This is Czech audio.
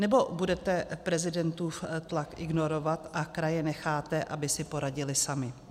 Nebo budete prezidentův tlak ignorovat a kraje necháte, aby si poradily samy?